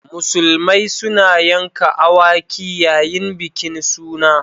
Musulmai suna yanka awaki yayin bikin suna.